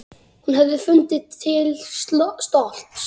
Hún hefði fundið til stolts.